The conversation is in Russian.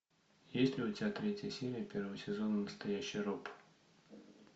есть ли у тебя третья серия первого сезона настоящий роб